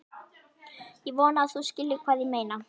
Ég vona að þú skiljir hvað ég meina.